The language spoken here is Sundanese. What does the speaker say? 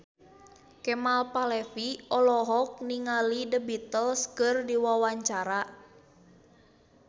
Kemal Palevi olohok ningali The Beatles keur diwawancara